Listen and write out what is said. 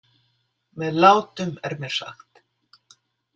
Með látum, er mér sagt.